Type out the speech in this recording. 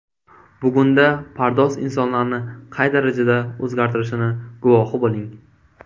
Bugunda pardoz insonlarni qay darajada o‘zgartirishini guvohi bo‘ling.